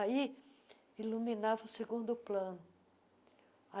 Aí iluminava o segundo plano.